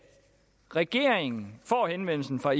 regeringen får henvendelsen fra